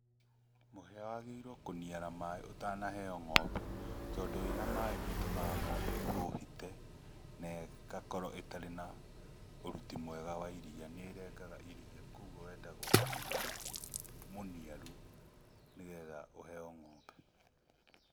Mũhĩa wagĩrĩirwo kũniara maĩ ũtanaheo ng'ombe, tondũ wĩ na maaĩ nĩ ũtũmaga ng'ombe ĩhuhite. Na ĩgakorwo ĩtarĩ na ũruti mwega wa iria, nĩ ĩrengaga iria koguo wendaga mũhĩa mũniaru nĩgetha ũheo ng'ombe.